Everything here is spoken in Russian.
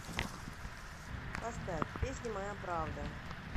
поставь песня моя правда